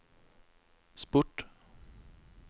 sport